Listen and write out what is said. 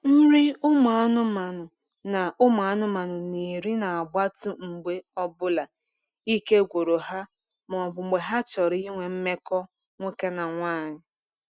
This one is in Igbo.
Nri ụmụ anụmanụ na anụmanụ na eri na gbatu mgbe ọbụla ike gwụru ha ma ọbụ mgbe ha chọrọ ịnwe mmekọ nwoke na nwanyi